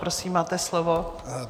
Prosím, máte slovo.